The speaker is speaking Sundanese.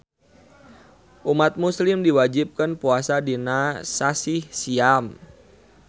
Umat muslim diwajibkeun puasa dina sasih siam